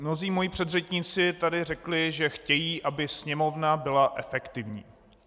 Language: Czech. Mnozí moji předřečníci tady řekli, že chtějí, aby Sněmovna byla efektivní.